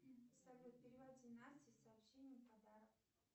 салют переводи насте с сообщением подарок